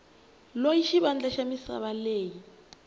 loyi xivandla xa misava lexi